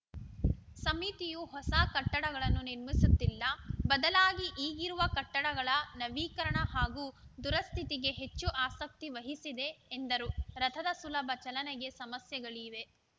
ಸಮಿತಿಯು ಹೊಸ ಕಟ್ಟಡಗಳನ್ನು ನಿರ್ಮಿಸುತ್ತಿಲ್ಲ ಬದಲಾಗಿ ಈಗಿರುವ ಕಟ್ಟಡಗಳ ನವೀಕರಣ ಹಾಗೂ ದುರಸ್ತಿತಿಗೆ ಹೆಚ್ಚು ಆಸಕ್ತಿ ವಹಿಸಿದೆ ಎಂದರು ರಥದ ಸುಲಭ ಚಲನೆಗೆ ಸಮಸ್ಯೆಗಳಿವೆ